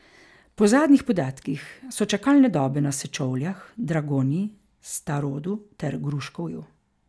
Po zadnjih podatkih so čakalne dobe na Sečovljah, Dragonji, Starodu ter Gruškovju.